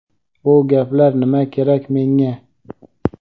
Bu gaplar nima kerak menga?.